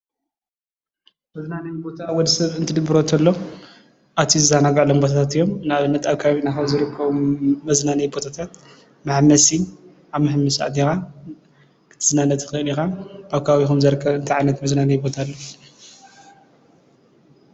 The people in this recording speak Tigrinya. መዝናነዪ ቦታ ወድሰብ ክድብሮ ከሎ ኣትዩ ዝዘናገዐሎም ቦታታት እዮም ንኣብነት ኣብ ከባቢ ካብ ዝርከቡ መዝናነዪ ቦታታት ንኣብነት ኣብ መሐመሲ ኣቲኻ ክትዝናነ ትኽእል ኢኻ። ኣብ ከባቢኩም ዝርከብ እንታይ ዓይነት መዝናነዪ ቦታ ኣሎ?